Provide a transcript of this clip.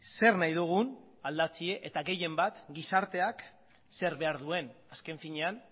zer nahi dugun aldatzea eta gehien bat gizarteak zer behar duen azken finean